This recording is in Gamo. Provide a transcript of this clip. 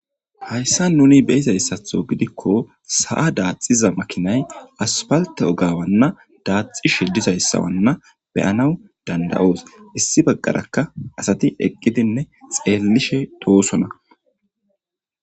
Hayissan nuni beyizayissaththo gidikko sa"a daxiza makinay asfalte oga daxishshe dosona asatikka issi bagara xelashshe de"osona